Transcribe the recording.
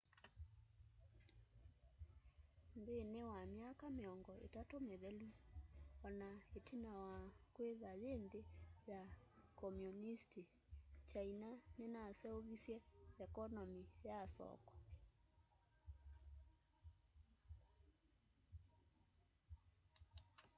nthînî wa myaka mîongo îtatû mîthelu ona itina wa kwîthwa yî nthî ya komunisti kyaina ninaseuvisye ekonomi ya soko